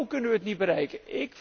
Zo kunnen wij het niet bereiken.